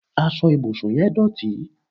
asọ ibusun yẹn dótì